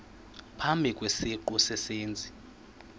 phambi kwesiqu sezenzi